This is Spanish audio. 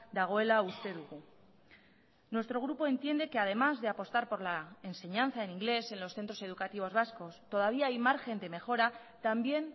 dagoela uste dugu nuestro grupo entiende que además de apostar por la enseñanza en inglés en los centros educativos vascos todavía hay margen de mejora también